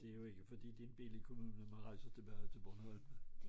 Det jo ikke fordi det en billig kommune man rejser tilbage til Bornholm